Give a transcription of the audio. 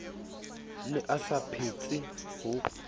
ne a sa phetse ho